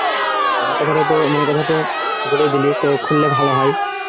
আমার কথা তো মনের কথা বলেই দিলি খুললে ভালো হয়